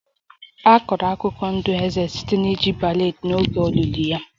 A kọrọ akụkọ ndụ eze site na iji ballad n'oge olili ya